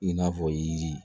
I n'a fɔ yiri